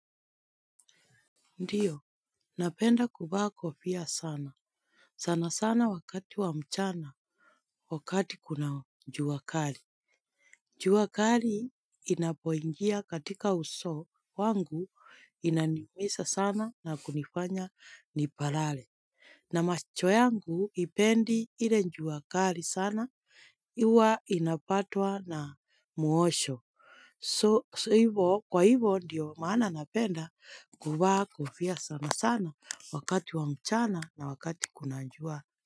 Ndiyo, napenda kuvaa kofia sana. Sana sana wakati wa mchana, wakati kuna njuwakali. Njuwakali inapoingia katika uso wangu inaniumisa sana na kunifanya nipalale. Na macho yangu ipendi hile njuwakali sana, iwa inapatwa na muosho. So hivo kwa hivo ndiyo maana napenda kuvaa kofia sana sana wakati wa mchana na wakati kunajua.